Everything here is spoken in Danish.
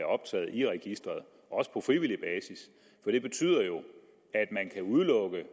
optaget i registeret også på frivillig basis for det betyder jo at man kan udelukke